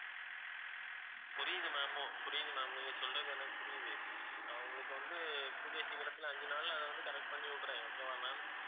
புரியுது ma'am புரியுது ma'am நீங்க சொல்றது எனக்கு புரியுது நான் உங்களுக்கு வந்து கூடிய சீக்கிரத்துல அஞ்சு நாள்ல அத வந்து correct பண்ணிவிடுறேன் okay வா ma'am